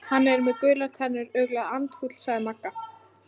Hann er með gular tennur, örugglega andfúll sagði Magga.